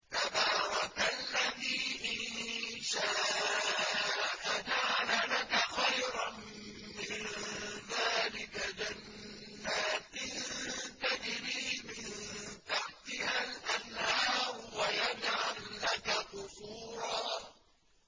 تَبَارَكَ الَّذِي إِن شَاءَ جَعَلَ لَكَ خَيْرًا مِّن ذَٰلِكَ جَنَّاتٍ تَجْرِي مِن تَحْتِهَا الْأَنْهَارُ وَيَجْعَل لَّكَ قُصُورًا